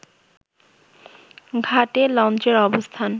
ঘাটে লঞ্চের অবস্থান